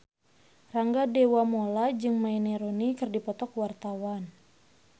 Rangga Dewamoela jeung Wayne Rooney keur dipoto ku wartawan